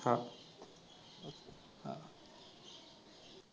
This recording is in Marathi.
हा.